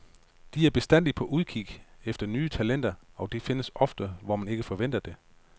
De er bestandig på udkig efter nye talenter, og de findes ofte, hvor man ikke venter det.